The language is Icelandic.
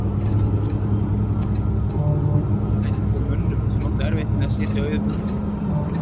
Hann var einn af þeim mönnum sem áttu erfitt með að sitja auðum höndum.